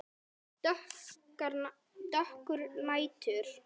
Dökkur nætur